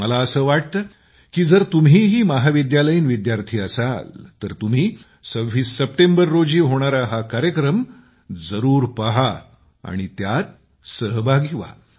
मला असं वाटतं की जर तुम्हीही महाविद्यालयीन विद्यार्थी असाल तर तुम्ही 26 सप्टेंबर रोजी होणारा हा कार्यक्रम जरूर पहा आणि त्यात सहभागी व्हा